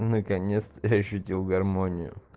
конец-то я ощутил гармонию